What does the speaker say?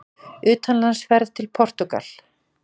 UTANLANDSFERÐ TIL PORTÚGAL